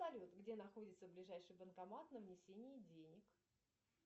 салют где находится ближайший банкомат на внесение денег